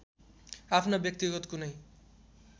आफ्ना व्यक्तिगत कुनै